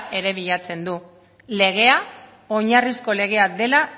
ere bilatzen du legea oinarrizko legea dela